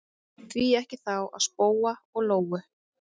Því ekki þá spóa og lóu?